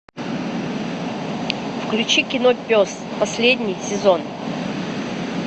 включи кино пес последний сезон